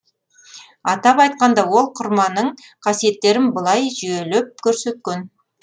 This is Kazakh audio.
атап айтқанда ол құрманың қасиеттерін былай жүйелеп көрсеткен